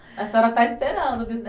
A senhora está esperando o